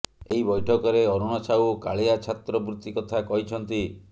ଏହି ବୈଠକରେ ଅରୁଣ ସାହୁ କାଳିଆ ଛାତ୍ର ବୃତ୍ତି କଥା କହିଛନ୍ତି